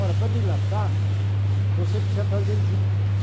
Ora, para dilatar, você precisa fazer juntas.